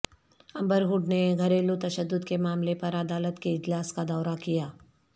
امبر Heard نے گھریلو تشدد کے معاملے پر عدالت کے اجلاس کا دورہ کیا